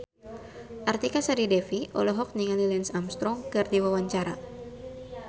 Artika Sari Devi olohok ningali Lance Armstrong keur diwawancara